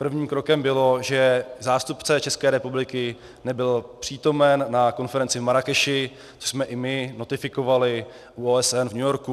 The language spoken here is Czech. Prvním krokem bylo, že zástupce České republiky nebyl přítomen na konferenci v Marrákeši, což jsme i my notifikovali u OSN v New Yorku.